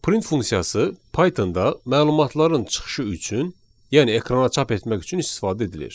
Print funksiyası Pythonda məlumatların çıxışı üçün, yəni ekrana çap etmək üçün istifadə edilir.